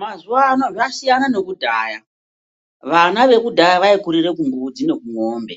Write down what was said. Mazuvano zvasiyana nekudhaya vana vekudhaya vaikurira kumbudzi nekumombe.